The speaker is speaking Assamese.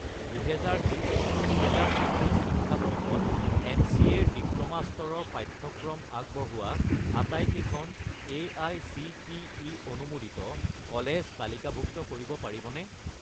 2020 - 2021 শিক্ষাবৰ্ষত এম.চি.এ. ৰ ডিপ্ল'মা স্তৰৰ পাঠ্যক্ৰম আগবঢ়োৱা আটাইকেইখন এআইচিটিই অনুমোদিত কলেজ তালিকাভুক্ত কৰিব পাৰিবনে?